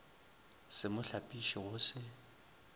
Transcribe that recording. se mo hlapiše go se